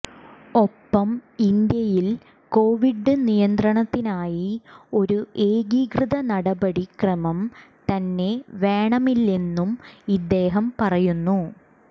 ഒപ്പം ഇന്ത്യയിൽ കൊവിഡ് നിയന്ത്രണത്തിനായി ഒരു ഏകീകൃത നടപടി ക്രമം തന്നെ വേണമില്ലെന്നും ഇദ്ദേഹം പറയുന്നു